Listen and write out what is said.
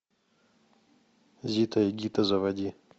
зита и гита заводи